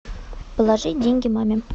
положи деньги маме